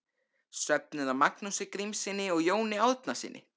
Söfnuð af Magnúsi Grímssyni og Jóni Árnasyni.